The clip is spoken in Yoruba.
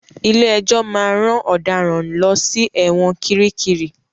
Ilé-ẹjọ máa ran ọ̀daràn lọ sí ẹ̀wọn kiríkirì.